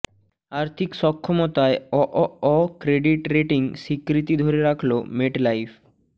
আর্থিক সক্ষমতায় অঅঅ ক্রেডিট রেটিং স্বীকৃতি ধরে রাখলো মেটলাইফ